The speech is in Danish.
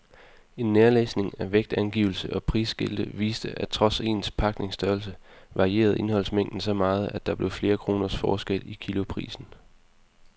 En nærlæsning af vægtangivelse og prisskilte viste, at trods ens pakningsstørrelse varierede indholdsmængden så meget, at der blev flere kroners forskel i kiloprisen.